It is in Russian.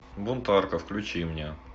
бунтарка включи мне